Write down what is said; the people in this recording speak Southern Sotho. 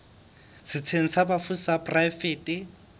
setsheng sa bafu sa poraefete